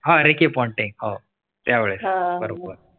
. हा ricky ponting. त्यावेळी बरोबर.